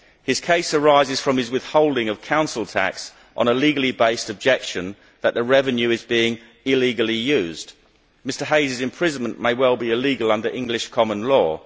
His case arises from his withholding of Council tax on a legally based objection that the revenue is being illegally used. Mr Hayes' imprisonment may well be illegal under English common law.